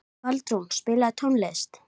Baldrún, spilaðu tónlist.